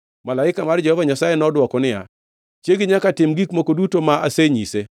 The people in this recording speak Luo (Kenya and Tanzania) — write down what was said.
Malaika mar Jehova Nyasaye nodwoko niya, “Chiegi nyaka tim gigo duto ma asenyise.